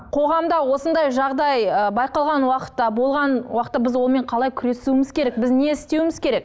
қоғамда осындай жағдай ы байқалған уақытта болған уақытта біз онымен қалай күресуіміз керек біз не істеуіміз керек